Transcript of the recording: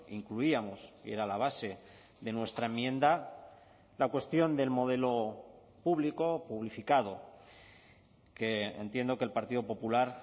incluíamos y era la base de nuestra enmienda la cuestión del modelo público o publificado que entiendo que el partido popular